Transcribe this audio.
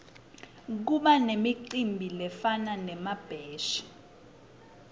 kubanemicimbi lefana nemabheshi